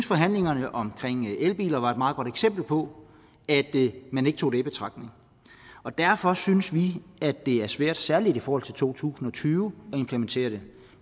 forhandlingerne om elbiler var et meget godt eksempel på at man ikke tog det i betragtning derfor synes vi det er svært særlig i forhold til to tusind og tyve at implementere det